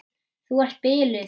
Þú ert biluð!